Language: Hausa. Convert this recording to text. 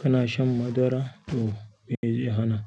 Kana shan madara ko meye jiha nan?